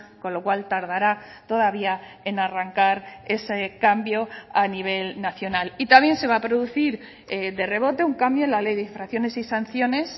con lo cual tardará todavía en arrancar ese cambio a nivel nacional y también se va a producir de rebote un cambio en la ley de infracciones y sanciones